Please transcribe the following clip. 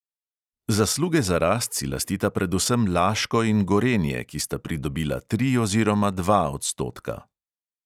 Zasluge za rast si lastita predvsem laško in gorenje, ki sta pridobila tri oziroma dva odstotka.